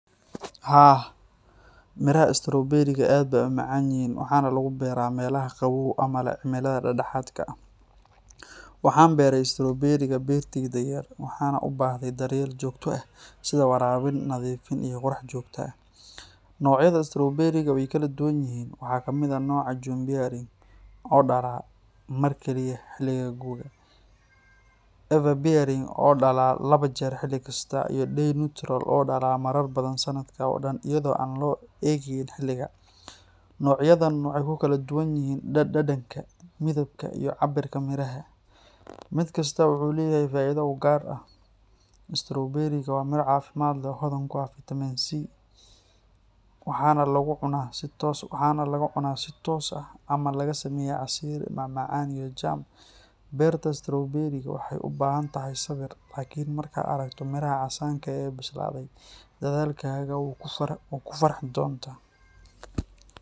Haa, miraha stowberiga aad bay u macaan yihiin waxaana laga beertaa meelaha qabow ama leh cimilada dhexdhexaadka ah. Waxaan beeray stowberiga beertayda yar, waxayna u baahdaan daryeel joogto ah sida waraabin, nadiifin iyo qorax joogto ah. Noocyada stowberiga way kala duwan yihiin. Waxaa ka mid ah nooca June-bearing oo dhala mar keliya xilliga gu’ga, Everbearing oo dhala laba jeer xilli kasta, iyo Day-neutral oo dhala marar badan sanadka oo dhan iyadoo aan loo eegayn xilliga. Noocyadan waxay ku kala duwan yihiin dhadhanka, midabka, iyo cabbirka miraha. Mid kastaa wuxuu leeyahay faa’iido u gaar ah. Stowberiga waa miro caafimaad leh oo hodan ku ah fitamiin C, waxaana lagu cunaa si toos ah ama laga sameeyaa casiir, macmacaan iyo jam. Beerta stowberiga waxay u baahan tahay sabir, laakin markaad aragto miraha casaanka ah ee bislaaday, dadaalkaaga wuu kaa farxin doonaa.